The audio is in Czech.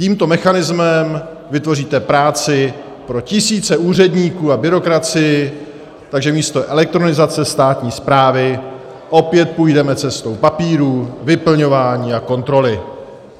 Tímto mechanismem vytvoříte práci pro tisíce úředníků a byrokracii, takže místo elektronizace státní správy opět půjdeme cestou papírů, vyplňování a kontroly.